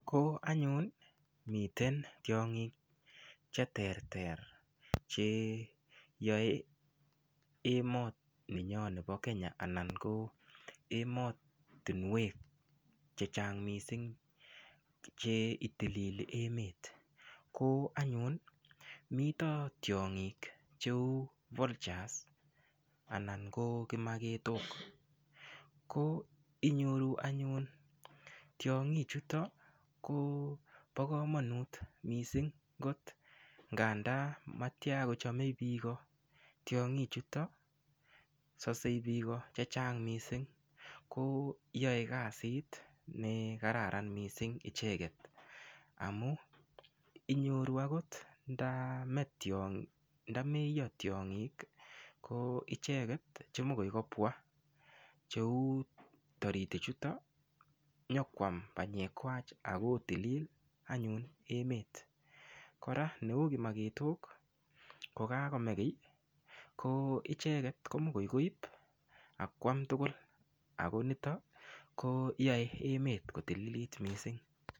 Ko anyun miten tiong'ik che ter ter che yoe emoni nyo nepo Kenya ana ko emotunwek che chang mising cheitilili emet koanyun mito tiong'ik cheu valtures anan ko kimaketok ko inyoru anyun tiong'ik chuto ko bo komonut mising kot ng'anda matia kochome biiko tiong'ik chuto sosei biko che chang mising ko yoe kasit nekararan mising icheket amu inyoru akot ndameyo tiong'ik ko icheket chemokoi kobwa cheu toritik chuto nyokwam panyek kwach akotilil anyun emet kora neu kimaketok kokakome kiy ko icheket ko mokoi koip akoam tugul ako nito koyoe emet kotililit mising.